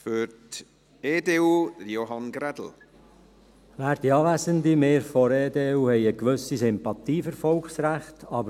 Wir von der EDU haben eine gewisse Sympathie für Volksrechte.